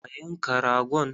A yanka ragon!